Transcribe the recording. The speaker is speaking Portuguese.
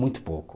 Muito pouco.